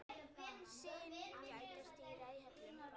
Syn gætir dyra í höllum